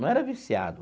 Não era viciado.